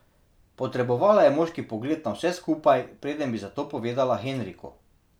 Potrebovala je moški pogled na vse skupaj, preden bi za to povedala Henriku.